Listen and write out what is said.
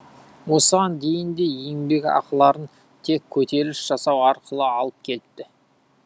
осыған дейін де еңбекақыларын тек көтеріліс жасау арқылы алып келіпті